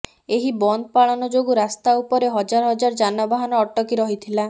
ଏହି ବନ୍ଦପାଳନ ଯୋଗୁଁ ରାସ୍ତାଉପରେ ହଜାର ହଜାର ଯାନବାହାନ ଅଟକି ରହିଥିଲା